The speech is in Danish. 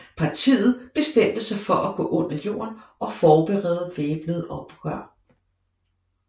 Partiet bestemte sig for at gå under jorden og forberede væbnet oprør